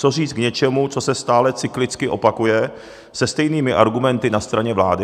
Co říct k něčemu, co se stále cyklicky opakuje se stejnými argumenty na straně vlády?